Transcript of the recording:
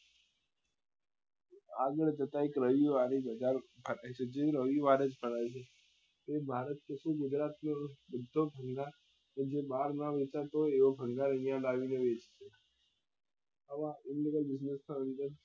આગળ જતા એક રવિવારી બજાર ભરાય છે તે રવિવારે જ ભરાય છે તે ભારત ગુજરાત નો બધો ભંગાર કે જે બાર નાં વેચાતો હોય એ ભંગાર અહિયાં લાવી ને વેંચે છે